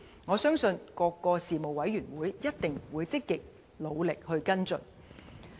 我相信各事務委員會一定會積極努力跟進。